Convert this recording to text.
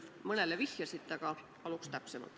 Te küll mõnele vihjasite, aga paluks täpsemalt.